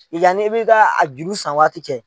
Yan n'i bɛ taa a juru san waati cɛ